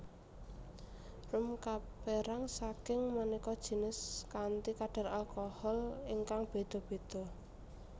Rum kapérang saking maneka jinis kanthi kadar alkohol ingkang béda béda